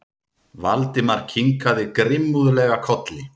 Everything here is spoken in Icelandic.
Valdimar kinkaði grimmúðlega kolli.